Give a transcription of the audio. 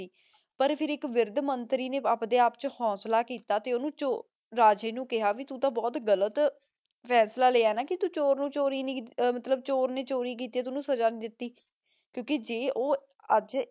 ਪਰ ਫੇਰ ਏਇਕ ਵਿਰ੍ਧ ਮੰਤਰੀ ਨੇ ਅਪਡੇ ਆਪ ਵਿਚ ਹਿਮ੍ਮਤ ਕੀਤੀ ਰਾਜੇ ਨੂ ਕੇਹਾ ਕੇ ਭਾਈ ਤੂ ਤਾਂ ਬੋਹਤ ਗਲਤ ਫੈਸਲਾ ਲਾਯਾ ਨਾ ਕੇ ਉ ਚੋਰ ਨੂ ਸਜ਼ਾ ਨਾਈ ਦਿਤੀ ਕ੍ਯੂ ਕੇ ਜੇ ਊ ਆਜ